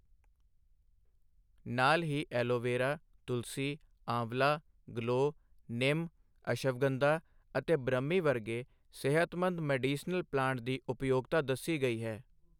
ਨਾਲ ਹੀ ਐਲੋਵੇਰਾ, ਤੁਲਸੀ, ਆਂਵਲਾ, ਗਲੋਅ, ਨਿਮ, ਅਸ਼ਵਗੰਧਾ ਅਤੇ ਬ੍ਰਹਮੀ ਵਰਗੇ ਸਿਹਤਮੰਦ ਮੈਡੀਸਿਨਲ ਪਲਾਂਟ ਦੀ ਉਪਯੋਗਤਾ ਦੱਸੀ ਗਈ ਹੈ।